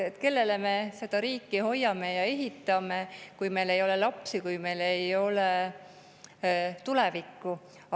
Kellele me seda riiki hoiame ja ehitame, kui meil ei ole lapsi, kui meil ei ole tulevikku?